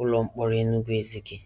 ụlọ mkpọrọ Enugu-Ezike.